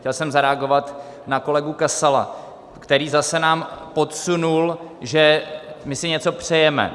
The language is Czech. Chtěl jsem zareagovat na kolegu Kasala, který zase nám podsunul, že my si něco přejeme.